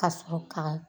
Ka sɔrɔ ka